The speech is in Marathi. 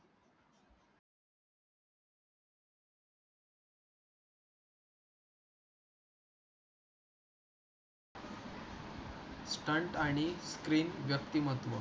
स्टंट आणि स्क्रीन व्यक्तिमत्व